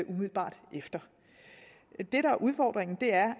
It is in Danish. umiddelbart efter det der er udfordringen er